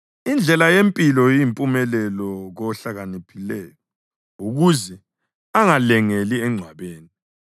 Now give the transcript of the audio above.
Indlela yempilo iyimpumelelo kohlakaniphileyo ukuze angalengeli engcwabeni.